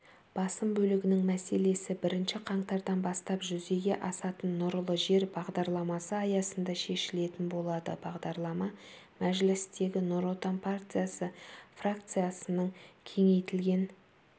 басым бөлігінің мәселесі бірінші қаңтардан бастап жүзеге асатын нұрлы жер бағдарламасы аясында шешілетін болады бағдарама мәжілістегі нұр отан партиясы фракциясының кеңейтілген